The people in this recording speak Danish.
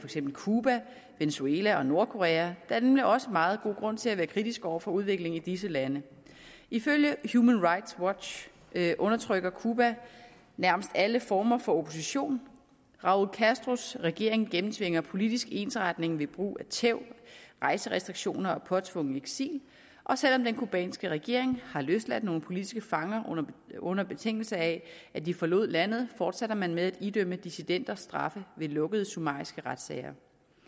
eksempel cuba venezuela og nordkorea der er nemlig også meget god grund til at være kritisk over for udviklingen i disse lande ifølge human rights watch undertrykker cuba nærmest alle former for opposition raúl castros regering gennemtvinger politisk ensretning ved brug af tæv rejserestriktioner og påtvungen eksil og selv om den cubanske regering har løsladt nogle politiske fanger under betingelse af at de forlod landet forsætter man med at idømme dissidenter straffe ved lukkede summariske retssager